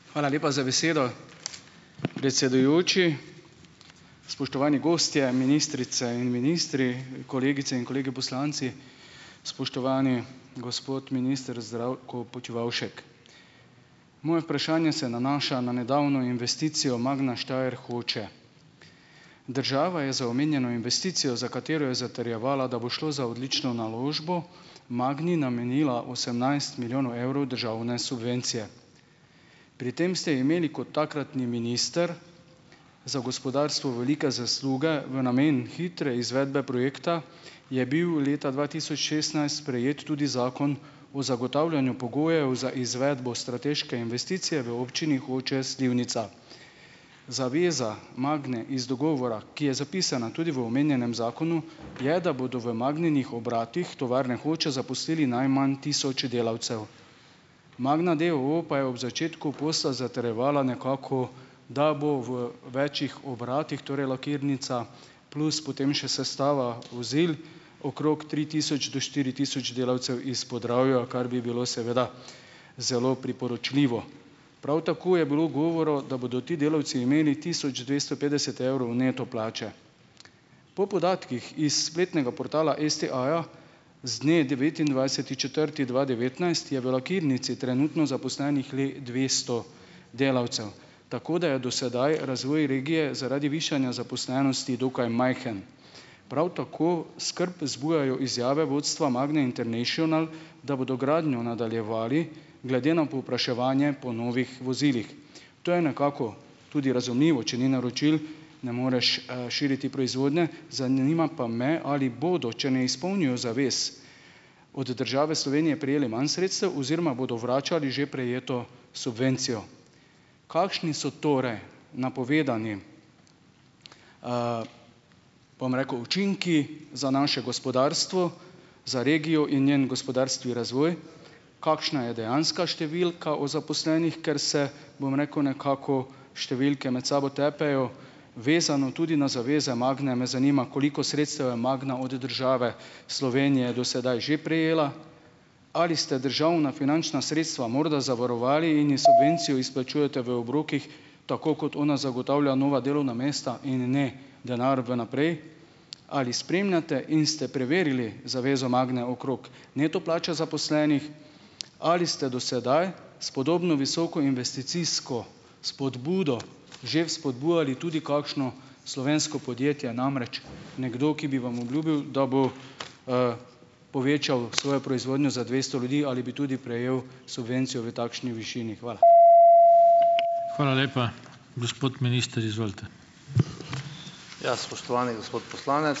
Hvala lepa za besedo, predsedujoči. Spoštovani gostje, ministrice in ministri! Kolegice in kolegi poslanci! Spoštovani gospod minister Zdravko Počivalšek. Moje vprašanje se nanaša na nedavno investicijo Magna Steyer Hoče. Država je za omenjeno investicijo, za katero je zatrjevala, da bo šlo za odlično naložbo, Magni namenila osemnajst milijonov evrov državne subvencije. Pri tem ste imeli kot takratni minister za gospodarstvo velike zasluge. V namen hitre izvedbe projekta je bil leta dva tisoč šestnajst sprejet tudi zakon o zagotavljanju pogojev za izvedbo strateške investicije v občini Hoče - Slivnica. Zaveza Magne iz dogovora, ki je zapisana tudi v omenjenem zakonu, je, da bodo v Magninih obratih tovarne Hoče zaposlili najmanj tisoč delavcev. Magna d. o. o. pa je ob začetku posla zatrjevala nekako, da bo v večih obratih, torej lakirnica plus potem še sestava vozil. okrog tri tisoč do štiri tisoč delavcev iz Podravja, kar bi bilo seveda zelo priporočljivo. Prav tako je bilo govora, da bodo ti delavci imeli tisoč dvesto petdeset evrov neto plače. Po podatkih iz spletnega portala STA-ja z dne devetindvajseti četrti dva devetnajst je v lakirnici trenutno zaposlenih le dvesto delavcev, tako da je do sedaj razvoj regije zaradi višanja zaposlenosti dokaj majhen. Prav tako skrb zbujajo izjave vodstva Magne International, da bodo gradnjo nadaljevali glede na povpraševanje po novih vozilih. To je nekako tudi razumljivo, če ni naročil, ne moreš, širiti proizvodnje. Zanima pa me, ali bodo, če ne izpolnijo zavez od države Slovenije, prejeli manj sredstev oziroma bodo vračali že prejeto subvencijo. Kakšni so torej napovedani, pa rekel, učinki za naše gospodarstvo, za regijo in njen gospodarski razvoj? Kakšna je dejanska številka o zaposlenih, ker se, bom rekel, nekako številke med sabo tepejo, vezano tudi na zaveze Magne, me zanima koliko sredstev je Magna od države Slovenije do sedaj že prejela? Ali ste državna finančna sredstva morda zavarovali in ji subvencijo izplačujete v obrokih, tako kot ona zagotavlja nova delovna mesta in ne denar v naprej? Ali spremljate in ste preverili zavezo Magne okrog neto plače zaposlenih? Ali ste do sedaj s podobno visoko investicijsko spodbudo že spodbujali tudi kakšno slovensko podjetje? Namreč, nekdo, ki bi vam obljubil, da bo, povečal svojo proizvodnjo za dvesto ljudi, ali bi tudi prejel subvencijo v takšni višini? Hvala.